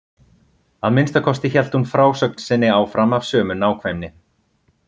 Að minnsta kosti hélt hún frásögn sinni áfram af sömu nákvæmni.